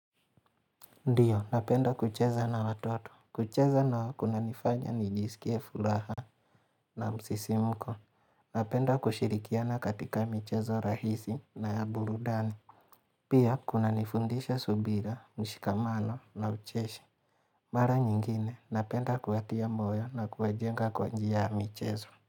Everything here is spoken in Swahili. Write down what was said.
Ndiyo, napenda kucheza na watoto. Kucheza nao kunanifanya nijisikie furaha na msisimko. Napenda kushirikiana katika michezo rahisi na ya burudani. Pia, kuna nifundisha subira, mshikamano na ucheshi. Mara nyingine, napenda kuwatia moyo na kuwajenga kwa njia ya michezo.